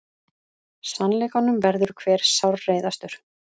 Sannleikanum verður hver sárreiðastur.